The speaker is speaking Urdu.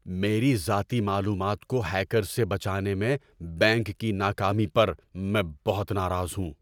میری ذاتی معلومات کو ہیکرز سے بچانے میں بینک کی ناکامی پر میں بہت ناراض ہوں۔